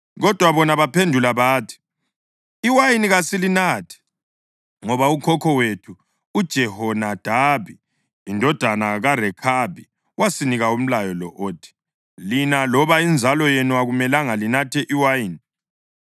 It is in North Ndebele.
Kodwa bona baphendula bathi, “Iwayini kasilinathi ngoba ukhokho wethu uJehonadabi indodana kaRekhabi wasinika umlayo lo othi: ‘Lina loba inzalo yenu akumelanga linathe iwayini.